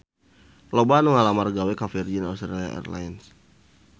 Loba anu ngalamar gawe ka Virgin Australia Airlines